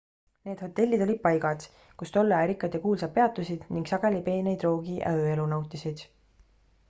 need hotellid olid paigad kus tolle aja rikkad ja kuulsad peatusid ning sageli peeneid roogi ja ööelu nautisid